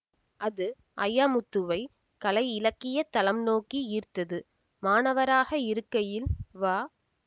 அது அய்யாமுத்துவை கலையிலக்கிய தளம் நோக்கி ஈர்த்தது மாணவராக இருக்கையில் வ